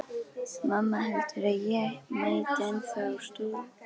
Mamma heldur að ég mæti ennþá á stúkufundi.